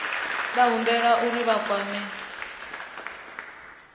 vha humbelwa uri vha kwame